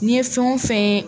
N'i ye fɛn o fɛn ye